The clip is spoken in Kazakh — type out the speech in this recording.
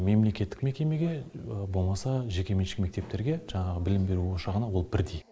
мемлекеттік мекемеге болмаса жекеменшік мектептерге жаңағы білім беру ошағына ол бірдей